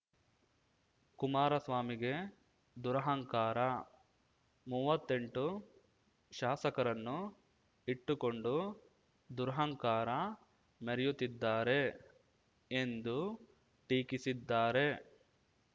ಕುಮಾರಸ್ವಾಮಿಗೆ ದುರಹಂಕಾರ ಮೂವತ್ತೆಂಟು ಶಾಸಕರನ್ನು ಇಟ್ಟುಕೊಂಡು ದುರಹಂಕಾರ ಮೆರೆಯುತ್ತಿದ್ದಾರೆ ಎಂದು ಟೀಕಿಸಿದ್ದಾರೆ